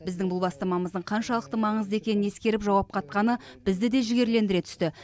біздің бұл бастамамыздың қаншалықты маңызды екенін ескеріп жауап қатқаны бізді де жігерлендіре түсті